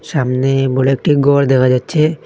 সামনে বড় একটি ঘর দেখা যাচ্ছে।